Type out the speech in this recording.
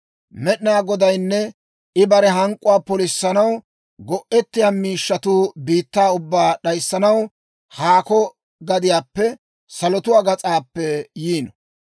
Med'inaa Godaynne I bare hank'k'uwaa polissanaw go'ettiyaa miishshatuu biittaa ubbaa d'ayissanaw, haako gadiyaappe, salotuwaa gas'aappe yiino.